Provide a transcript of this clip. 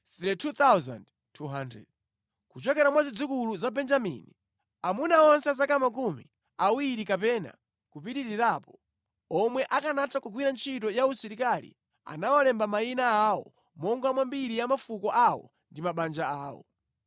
Kuchokera mwa zidzukulu za Benjamini: Amuna onse a zaka makumi awiri kapena kupitirirapo, omwe akanatha kugwira ntchito ya usilikali anawalemba mayina awo monga mwa mbiri ya mafuko awo ndi mabanja awo.